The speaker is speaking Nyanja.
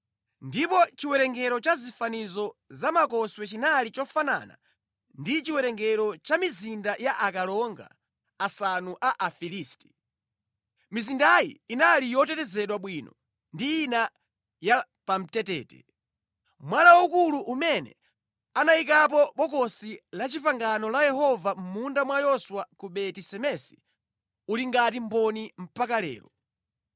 Ndipo chiwerengero cha zifanizo za makoswe chinali chofanana ndi chiwerengero cha mizinda ya akalonga asanu a Afilisti. Mizindayi inali yotetezedwa bwino ndi ina yapamtetete. Mwala waukulu umene anayikapo Bokosi la Chipangano la Yehova mʼmunda mwa Yoswa ku Beti-Semesi uli ngati mboni mpaka lero.